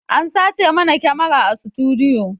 An sace mana kyamara a sutudiyo